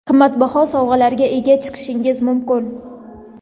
qimmatbaho sovrinlarga ega chiqishingiz mumkin.